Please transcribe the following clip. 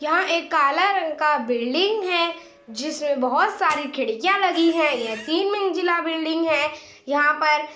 यहाँ एक काला रंग का बिल्डिंग है जिसमें बोहोत सारी खिड़कियाँ लगी हैं। यह तीन मंजिला बिल्डिंग हैं। यहाँ पर --